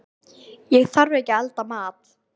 Ég þarf ekki að elda mat.